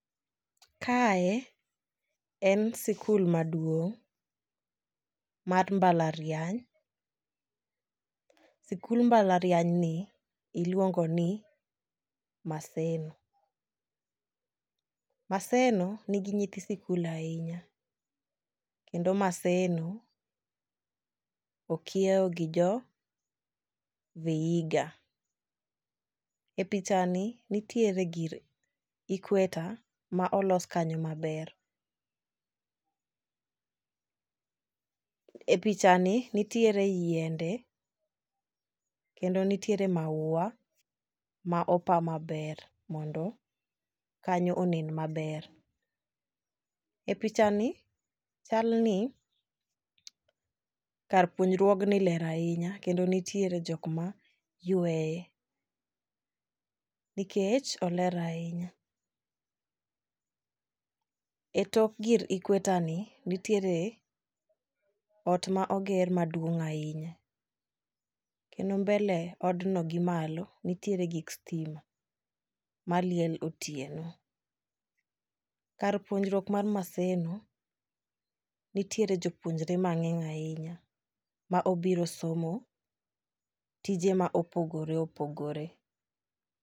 Kae en sikul maduong' mar mbalariany, sikul mbalariany ni iluongo ni Maseno. Maseno nigi nyithi sikul ahinya kendo maseno okiewo gi jo Vihiga . E picha ni nitiere gir equator ma olos kanyo maber. E picha ni nitiere yiende kendo nitiere maua ma opa maber mondo kanyo onen maber. E picha ni chal ni kar puonjruogni ler ahinya kendo nitiere jok ma yweye nikech oler ahinya. E tok gir equator ni nitiere ot ma oger maduong' ahinya kendo mbele odno gi malo nitiere gik stima maliel otieno . Kar puonjruok mar maseno nitiere jopuonjre mang'eny ahinya ma obiro somo tije ma opogore opogore.